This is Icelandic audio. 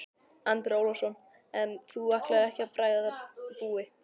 Andri Ólafsson: En þú ætlar ekkert að bregða búi?